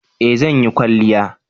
eh zan yi kwalliya